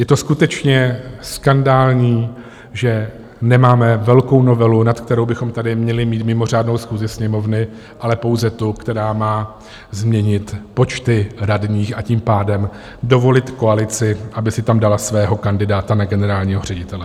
Je to skutečně skandální, že nemáme velkou novelu, na kterou bychom tady měli mít mimořádnou schůzi Sněmovny, ale pouze tu, která má změnit počty radních, a tím pádem dovolit koalici, aby si tam dala svého kandidáta na generálního ředitele.